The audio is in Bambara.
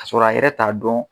k'a sɔrɔ a yɛrɛ t'a dɔn